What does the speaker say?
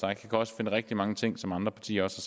jeg kan også finde rigtig mange ting som andre partier også